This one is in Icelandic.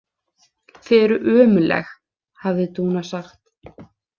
Þið eruð ömurleg, hafði Dúna sagt.